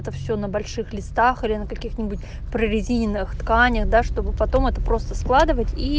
это всё на больших листах или на каких-нибудь прорезиненных тканях да чтобы потом это просто складывать и